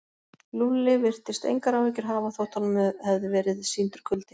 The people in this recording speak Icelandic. Lúlli virtist engar áhyggjur hafa þótt honum hefði verið sýndur kuldi.